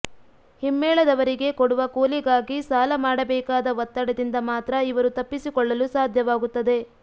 ಹಿಮ್ಮೇಳದವರಿಗೆ ಕೊಡುವ ಕೂಲಿಗಾಗಿ ಸಾಲ ಮಾಡಬೇಕಾದ ಒತ್ತಡದಿಂದ ಮಾತ್ರ ಇವರು ತಪ್ಪಿಸಿಕೊಳ್ಳಲು ಸಾಧ್ಯವಾಗುತ್ತದೆ